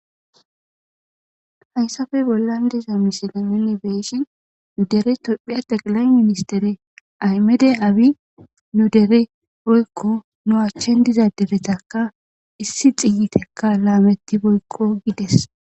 Haysape bollan diza misileza bolla Tphphiya kuushsha ministere dokitere Aymede Abi nu dere woyko Derezaka Issi Lametidi Woyko